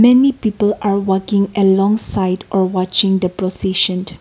many people are walking along side or watching the processant.